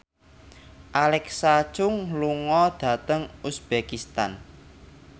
Alexa Chung lunga dhateng uzbekistan